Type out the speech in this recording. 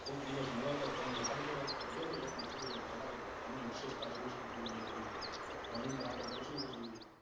કોક દિવસ માળો તો ફોન દેખાડ જો આમ તો જોયેલો. તમારે પણ સુ તામાર ફોન ની વિષેશતા સુ છે. ન સુ નઈ બધી માંડીને વાતો કરશુ પેસી.